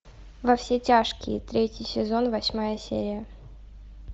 во все тяжкие третий сезон восьмая серия